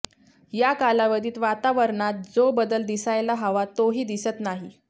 या कालावधीत वातावरणात जो बदल दिसायला हवा तोही दिसत नाही